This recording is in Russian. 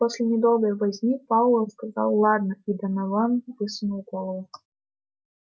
после недолгой возни пауэлл сказал ладно и донован высунул голову